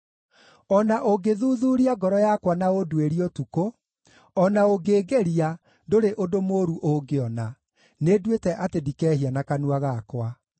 O na ũngĩthuthuuria ngoro yakwa na ũnduĩrie ũtukũ, o na ũngĩngeria, ndũrĩ ũndũ mũũru ũngĩona; nĩnduĩte atĩ ndikehia na kanua gakwa.